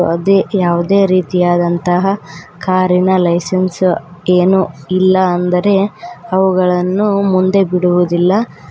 ಅದೇ ಯಾವ್ದೆ ರೀತಿಯಾದಂತಹ ಕಾರಿನ ಲೈಸನ್ಸ್ ಏನು ಇಲ್ಲ ಅಂದರೆ ಅವುಗಳನ್ನು ಮುಂದೆ ಬಿಡುವುದಿಲ್ಲ.